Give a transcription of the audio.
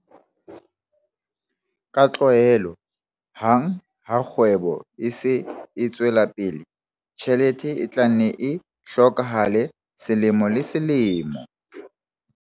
Ka tlwaelo hang ha kgwebo e se e tswela pele, tjhelete e tla nne e hlokahale selemo le selemo.